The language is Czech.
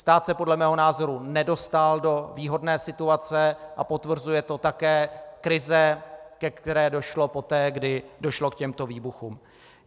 Stát se podle mého názoru nedostal do výhodné situace a potvrzuje to také krize, ke které došlo poté, kdy došlo k těmto výbuchům.